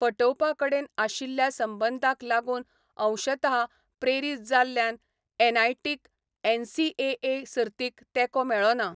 फटोवपा कडेन आशिल्ल्या संबंदाक लागून अंशतः प्रेरीत जाल्ल्यान एनआयटीक एनसीएए सर्तीक तेंको मेळ्ळो ना.